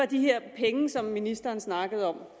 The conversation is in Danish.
de her penge som ministeren snakkede om